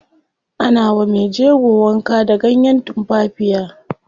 Ana wa mejego wanka da ganyen tumfafiya.